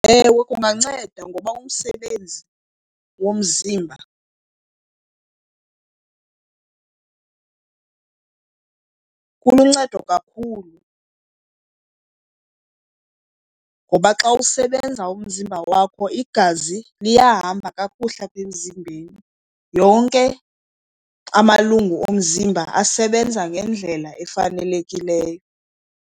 Ewe, kunganceda ngoba umsebenzi womzimba kuluncedo kakhulu. Ngoba xa usebenza umzimba wakho igazi liyahamba kakuhle apha emzimbeni, yonke amalungu omzimba asebenza ngendlela efanelekileyo.